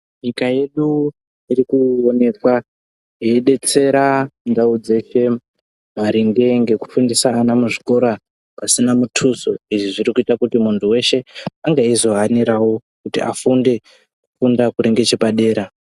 Nyika yedu irikuonekwa yedetsera ndau dzeshe maringe ngekufundisa ana muzvikora pasina muduso. Izvi zvirikuita muntu weshe ange eizohanirawo kuti afunde kufunda kuri ngechepadera.